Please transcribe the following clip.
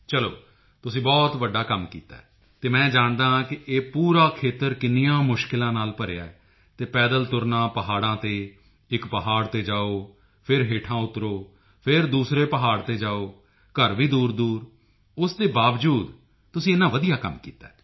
ਚਲੋ ਤੁਸੀਂ ਬਹੁਤ ਵੱਡਾ ਕੰਮ ਕੀਤਾ ਹੈ ਅਤੇ ਮੈਂ ਜਾਣਦਾ ਹਾਂ ਕਿ ਇਹ ਪੂਰਾ ਖੇਤਰ ਕਿੰਨੀਆਂ ਮੁਸ਼ਕਿਲਾਂ ਨਾਲ ਭਰਿਆ ਹੈ ਅਤੇ ਪੈਦਲ ਤੁਰਨਾ ਪਹਾੜਾਂ ਤੇ ਇੱਕ ਪਹਾੜ ਤੇ ਜਾਓ ਫਿਰ ਹੇਠਾਂ ਉਤਰੋ ਫਿਰ ਦੂਸਰੇ ਪਹਾੜ ਤੇ ਜਾਓ ਘਰ ਵੀ ਦੂਰਦੂਰ ਉਸ ਦੇ ਬਾਵਜੂਦ ਵੀ ਤੁਸੀਂ ਇੰਨਾ ਵਧੀਆ ਕੰਮ ਕੀਤਾ